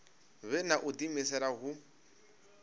vhe na u diimisela hu